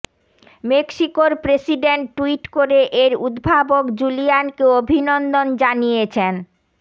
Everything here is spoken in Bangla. মেক্সিকোর প্রেসিডেন্ট টুইট করে এর উদ্ভাবক জুলিয়ানকে অভিনন্দন জানিয়েছেন